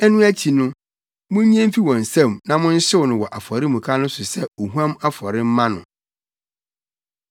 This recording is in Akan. Ɛno akyi no, munnye mfi wɔn nsam na monhyew no wɔ afɔremuka no so sɛ ohuam afɔre mma no.